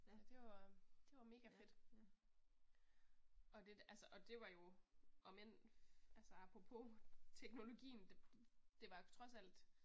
Det var, det var mega fedt. Og det altså og det var jo omend altså apropos teknologien det var trods alt